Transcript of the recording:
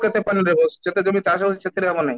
ରହୁଛି ଯେତେ ଜମି ଚାଷ ହେଉଛି ସେଥିରେ ହେବ ନାହିଁ